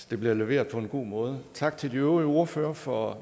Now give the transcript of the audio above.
det blev leveret på en god måde tak til de øvrige ordførere for